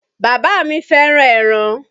Bàbá mi fẹ́ràn ẹran.